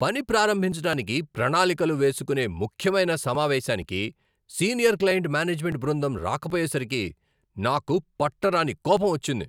పని ప్రారంభించటానికి ప్రణాళికలు వేసుకోనే ముఖ్యమైన సమావేశానికి సీనియర్ క్లయింట్ మేనేజ్మెంట్ బృందం రాకపోయేసరికి నాకు పట్టరాని కోపం వచ్చింది.